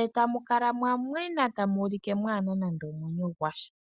eta mukala mwamwena mwafa mwaana nande omwenyo gwasha.